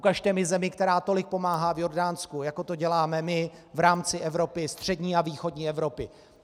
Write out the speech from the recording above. Ukažte mi zemi, která tolik pomáhá v Jordánsku, jako to děláme my v rámci Evropy, střední a východní Evropy.